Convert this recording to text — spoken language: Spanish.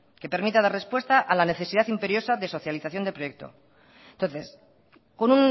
que permita dar respuesta a la necesidad imperiosa de socialización de proyecto entonces con